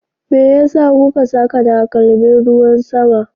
Me yasa kuka saka takalmin ruwan sama?